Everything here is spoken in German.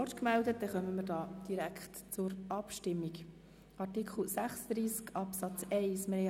Wir kommen zur Abstimmung über Artikel 36 Absatz 1.